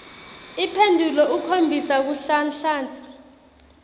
imphendvulo ikhombisa kunhlanhlatsa